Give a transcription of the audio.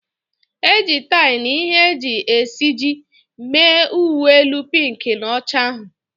E ji tie na ihe e ji esiji mee uwe elu pink na ọcha ahụ.